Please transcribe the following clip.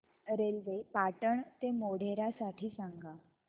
railway Patan ते मोढेरा साठी सांगा